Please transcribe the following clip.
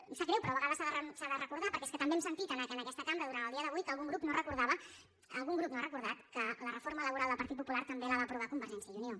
em sap greu però de vegades s’ha de recordar perquè és que també hem sentit en aquesta cambra durant el dia d’avui que algun grup no recordava algun grup no ha recordat que la reforma laboral del partit popular també la va aprovar convergència i unió